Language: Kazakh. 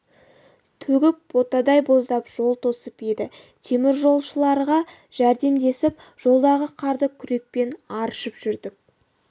төгіп ботадай боздап жол тосып еді теміржолшыларға жәрдемдесіп жолдағы қарды күрекпен аршып жүрдік